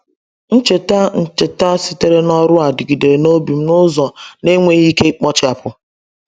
Ncheta Ncheta sitere n’ọrụ a dịgidere n’obi m n’ụzọ na-enweghị ike ikpochapụ.